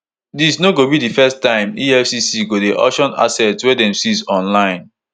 dis no go be di first time efcc go dey auction assets wey dem seize online